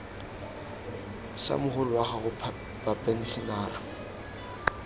sa mogolo wa gago bapenšenara